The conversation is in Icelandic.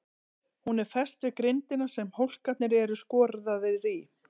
Hún er fest við grindina sem hólkarnir eru skorðaðir í.